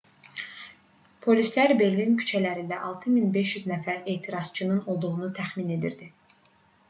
polislər berlin küçələrində 6500 nəfər etirazçının olduğunu təxmin edirdi